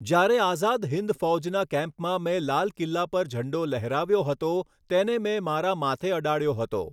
જ્યારે આઝાદ હિંદ ફૌજના કેમ્પમાં મેં લાલ કિલ્લા પર ઝંડો લહેરાવ્યો હતો, તેને મેં મારા માથે અડાડ્યો હતો.